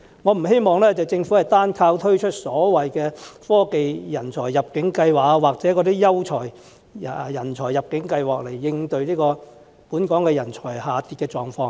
我不希望政府單靠推出科技人才入境計劃或優秀人才入境計劃來應對本港人才下跌的狀況。